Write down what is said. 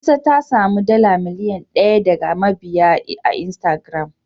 Nefisat ta samu dala miliyan daya daga mabiya a Instagram